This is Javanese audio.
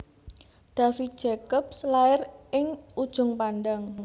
David Jacobs lair ing Ujung Pandang